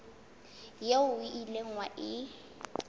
eo o ileng wa e